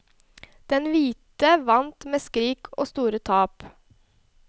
Den hvite vant med skrik og store tap.